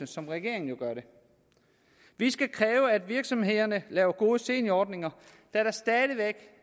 som regeringen jo gør vi skal kræve at virksomhederne laver gode seniorordninger da der stadig væk